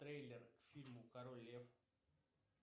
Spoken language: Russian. трейлер к фильму король лев